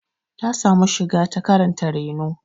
Ta samu shiga ta karanta reno.